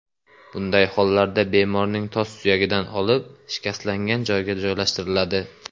Bunday hollarda bemorning tos suyagidan olib, shikastlangan joyga joylashtiriladi.